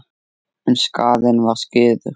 En skaðinn var skeður.